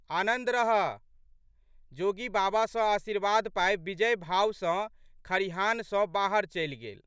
आनन्द रहह। जोगी बाबा सँ आशीर्वाद पाबि विजयी भाव सँ खरिहान सँ बाहर चलि गेल।